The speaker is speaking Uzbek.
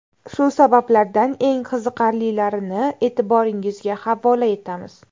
Shu sabablardan eng qiziqarlilarini e’tiboringizga havola etamiz.